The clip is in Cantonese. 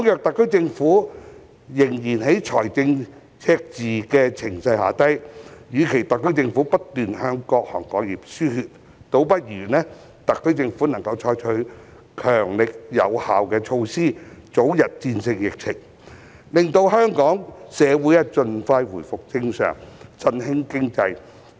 特區政府仍處於財政赤字的情勢下，與其不斷向各行各業輸血，倒不如採取強力有效的措施，早日戰勝疫情，令香港社會盡快回復正常，振興經濟。